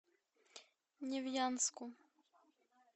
невьянску